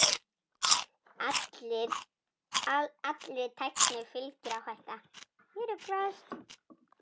Allri tækni fylgir áhætta.